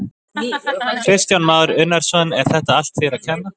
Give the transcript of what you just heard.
Kristján Már Unnarsson: Er þetta allt þeim að kenna?